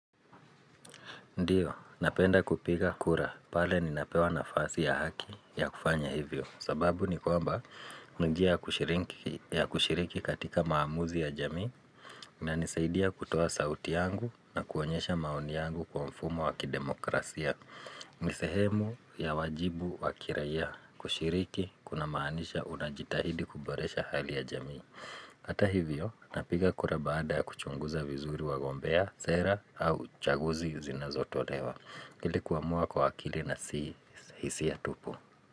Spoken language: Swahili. Ndiyo, napenda kupiga kura pale ninapewa nafasi ya haki ya kufanya hivyo sababu ni kwamba ni njia ya kushiriki katika maamuzi ya jamii inanisaidia kutoa sauti yangu na kuonyesha maoni yangu kwa mfumo wa kidemokrasia ni sehemu ya wajibu wa kiraia kushiriki kuna maanisha unajitahidi kuboresha hali ya jamii Hata hivyo, napiga kura baada kuchunguza vizuri wagombea, sera au uchaguzi zinazo tolewa ili kuamua kwa akili na si hisia tupu.